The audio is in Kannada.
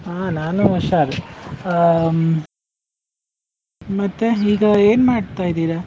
ಹ ನಾನು ಉಷಾರ್, ಹಾ ಮತ್ತೆ ಈಗ ಏನ್ ಮಾಡ್ತಾ ಇದ್ದೀರಾ?